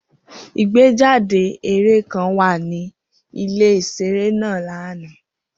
Igbejade eré kan wa ni ile iṣere naa lana.